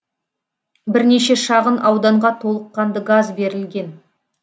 бірнеше шағын ауданға толыққанды газ берілген